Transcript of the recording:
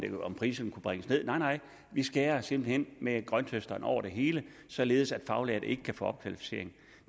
priserne kunne bringes ned nej nej vi skærer simpelt hen med grønthøsteren over det hele således at faglærte ikke kan få opkvalificering